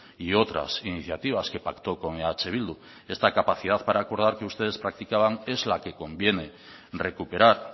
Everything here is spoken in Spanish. y otras iniciativas que pactó con eh bildu esta capacidad para acordar que ustedes practicaban es la que conviene recuperar